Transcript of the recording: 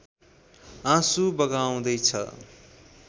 आँसु बगाउँदैछ